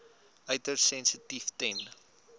uiters sensitief ten